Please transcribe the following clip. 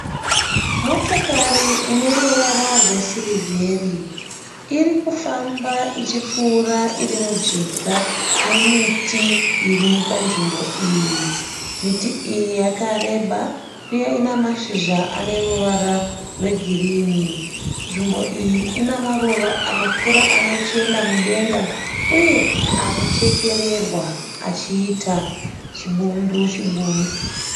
Motokari ine ruvara rwesirivheri irikufamba ichipfuura iri mujinga memiti iri panzvimbo iyi. Miti iyi yakareba uye ina mashizha ane ruvara rwegirini. Nzvimbo iyi ina maruva anokura achienda mudenga uye anochekererwa achiita chibundu chibundu.